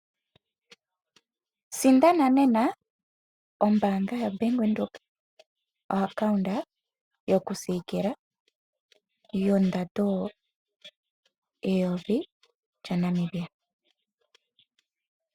Sindana nena ombaanga yaBank Windhoek ompungulilo yokusiikilila yondando N$1000.